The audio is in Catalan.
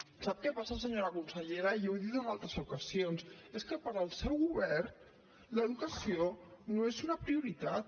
sap què passa senyora consellera ja ho he dit en altres ocasions és que per al seu govern l’educació no és una prioritat